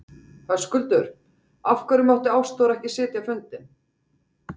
Höskuldur: Af hverju mátti Ástþór ekki sitja fundinn?